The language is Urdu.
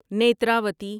نیتراوتی